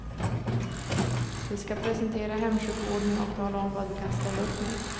Vi skall presentera hemsjukvården och tala om vad vi kan ställa upp med.